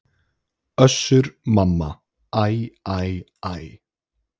Össur-Mamma: Æ æ æ.